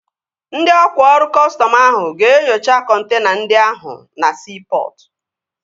Ndị ọkwá ọrụ kọstọm ahụ ga-enyocha kọntena ndị ahụ na siipọtụ